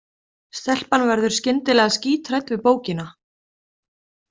Stelpan verður skyndilega skíthrædd við bókina.